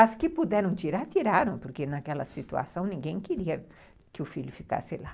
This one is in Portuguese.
As que puderam tirar, tiraram, porque naquela situação ninguém queria que o filho ficasse lá.